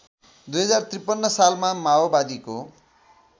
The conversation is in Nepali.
२०५३ सालमा माओवादीको